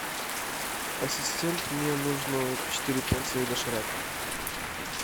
ассистент мне нужно четыре порции доширака